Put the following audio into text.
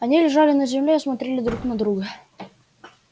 они лежали на земле и смотрели друг на друга